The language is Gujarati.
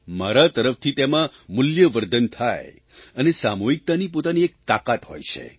મારા તરફથી તેમાં મૂલ્યવર્ધન થાય અને સામૂહિકતાની પોતાની એક તાકાત હોય છે